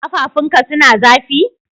Kafafun ka suna zafi?